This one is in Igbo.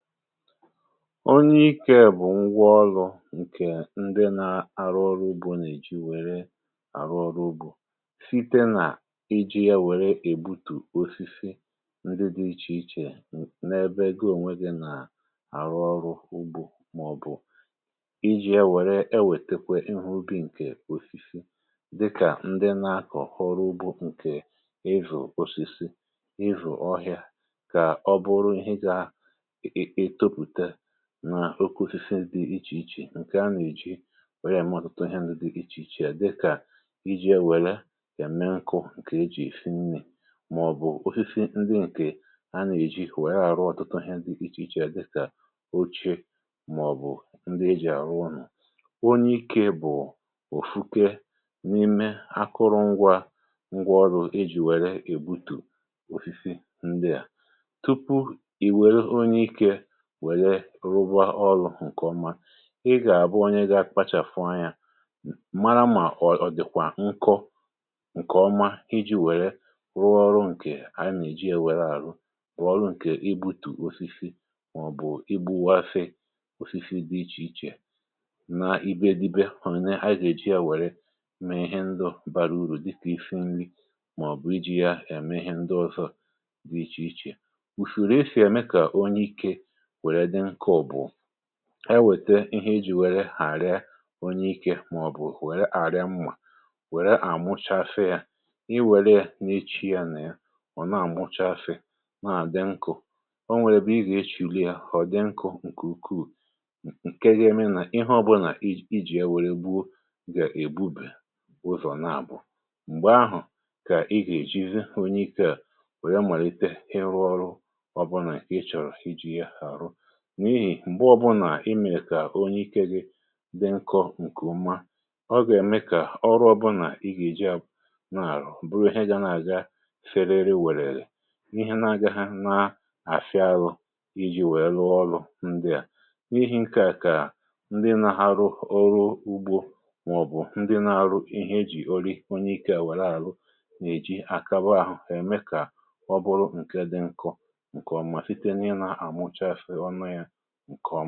onye ikė bụ̀ ngwa ọlụ̇ ǹkè ndị na-arụ ọrụ̇ ugbȯ nà-èji wère àrụ ọrụ ugbȯ site nà iji̇ ya wère ègbutù osisi ndị dị̇ ichè ichè n’ebe goo ònwè um dị nà-àrụ ọrụ̇ ugbȯ màọ̀bụ̀ ijì ya wère ewètekwe ihu ubì ǹkè osisi dịkà ndị na-akọ̀kọrọ ọrụ ugbȯ ǹkè izù òsìsì izù ọhị̀a kà ọ bụrụ nà oku isisi dị̇ ichè ichè ǹkè a nà-èji welie mụ̇ ọ̀tụtụ ihe nụ̇ dị ichè ichè a, dịkà iji̇ wele yà mee ǹkụ̇ ǹkè e jì fnnė màọ̀bụ̀ ofisi ndị ǹkè a nà-èji wèe àrụ ọ̀tụtụ ihe dị̇ ichè ichè a dịkà oche màọ̀bụ̀ ndị e jì àrụ ọ̀nọ̀. um onye ikė bụ̀ òfukė n’ime akụrụ ngwa ngwa ọrụ̇ ejì wère èbutù ofisi ndịà wère rụbọ ọlụ̇ ǹkè ọma. ị gà-àbụ onye ga-akpachàfụ anyȧ um mara mà ọ̀ dị̀kwà nkọ ǹkè ọma iji̇ wère rụọ ọrụ̇ ǹkè a nà-èji èwere àrụ wụ̀ ọrụ̇ ǹkè ibu̇tù osisi màọ̀bụ̀ ibu̇wȧfị osisi dị ichè ichè na ibe ȧdị̇be hụ̀rụ̀ na a gà-èji yȧ wère mee ihe ndụ̇ bara ùrù dịtị̇ isi nri màọ̀bụ̀ iji̇ ya ème ihe ndụ̇ ọzọ dị ichè ichè. ùfùrù e si ème kà onye ikė e wète ihe eji wère hàra onye ikė màọbụ̀ wère àrịa mmà um wère àmụchafe yȧ i wère n’ichi ya nà ya ọ̀ na-àmụchafe naà di nkụ̇. o nwėre bụ̇ ị gà-echìgo yȧ ọ̀ dị nkụ̇ ǹkè ukwuù ǹke ga-eme nà ihe ọbụnà iji̇ ewėrė gbuu gà-èbubè ozùrò, naàbụ̀ m̀gbè ahụ̀ kà ị gà-èjizi onye ikė à wèe malite ịrụ ọrụ n’ihì m̀gbe ọ̀bụnà imė kà onye ikė gị di nkọ̇ ǹkè mma. ọ gà-ème kà ọrụ ọbụnà ihe e ji ahụ̀ nà-àrụ bụrụ ihe ya na-àga serere wèrèlè ihe na-agȧhȧ na-àfịa ȧrụ̇ iji wèe lụọ ọrụ̇ ndịà n’ihì ǹkè a kà ndị nȧ-ahȧ rụ ọrụ ugbȯ um màọ̀bụ̀ ndị nȧ-ȧrụ ihe e jì ọrị onye ikė à wère àrụ nà-èji àkaba ȧhụ̇ ème kà ọ bụrụ ǹke dị nkọ̇ ǹkè ọmà site n’ịnȧ à mụcha enwèrè ya nà-èkwòmà.